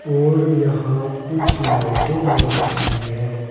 और यहां कुछ लाइटें लगी हुई हैं।